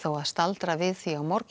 að staldra við því á morgun